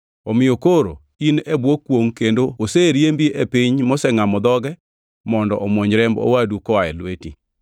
Omiyo koro in e bwo kwongʼ kendo oseriembi e piny mosengʼamo dhoge mondo omwony remb owadu koa e lweti.